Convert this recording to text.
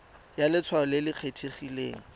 ya letshwao le le kgethegileng